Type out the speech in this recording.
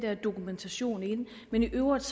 dokumentation men i øvrigt